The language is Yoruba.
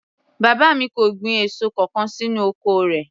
Bàbá mi kò gbin èso kankan sínú oko rẹ̀